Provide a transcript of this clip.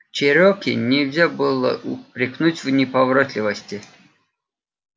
чероки нельзя было упрекнуть в неповоротливости